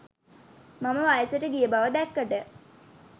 මම වයසට ගිය බව දැක්කට